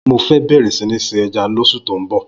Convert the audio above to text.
Mó fè̀ bẹrẹ si ni sin èjá ni óṣú tó n bọ